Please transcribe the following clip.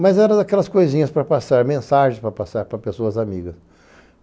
Mas era daquelas coisinhas para passar mensagem, para passar para pessoas amigas.